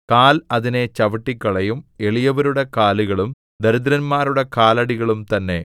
കാൽ അതിനെ ചവിട്ടിക്കളയും എളിയവരുടെ കാലുകളും ദരിദ്രന്മാരുടെ കാലടികളും തന്നെ